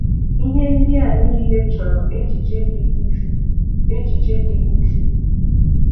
Íhé ndị̀ à nííle chọ̀rọ̀ échìchè ị́dị úchú échìchè ị́dị úchú